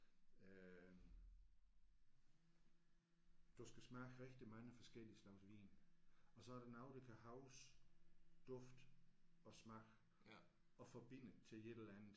Øh du skal smage rigtig mange forskellige slags vin og så er der nogle der kan huske duft og smag og forbinde til et eller andet